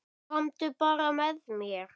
Komdu bara með mér.